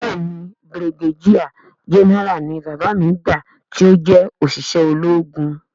Béèni brigadier general ni bàbá mi gbà ti ọ jé oṣiṣẹ ológun.